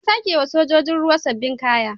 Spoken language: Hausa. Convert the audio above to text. An sake wa sojojin ruwa sabbin kaya.